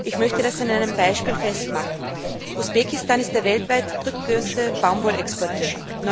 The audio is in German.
Ich möchte das an einem Beispiel festmachen Usbekistan ist der weltweit drittgrößte Baumwollexporteur.